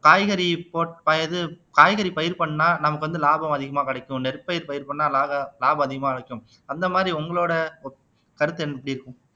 காய்கறி ப இது காய்கறி பயிர் பண்ணா நமக்கு வந்து லாபம் அதிகமா கிடைக்கும் நெற்பயிர் பயிர் பண்ணா லாக லாபம் அதிகமா கிடைக்கும் அந்த மாதிரி உங்களோட கருத்து என் எப்பிடி இருக்கும்